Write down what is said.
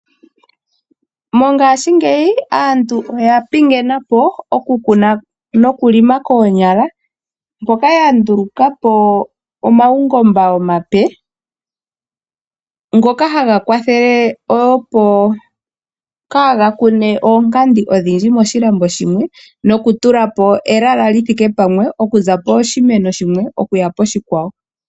Mongashingeyi aantu oya pingenapo okukuna nokulima koonyala, mpoka ya ndulukapo omaungomba omape, ngoka haga kwathele opo kaaga kune oonkandi odhindji moshilambo shimwe, nokutulapo ehala li thike pamwe okuza poshimeno shimwe okuya poshikwawo.